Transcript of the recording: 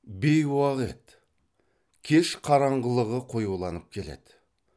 бейуақ еді кеш қараңғылығы қоюланып келеді